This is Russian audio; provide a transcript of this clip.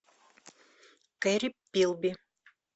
керри пилби